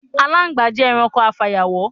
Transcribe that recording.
Aláǹgbá jé̩ e̩ranko afàyàwó̩.